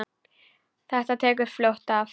Þetta tekur fljótt af.